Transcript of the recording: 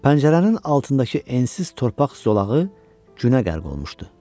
Pəncərənin altındakı ensiz torpaq zolağı günə qərq olmuşdu.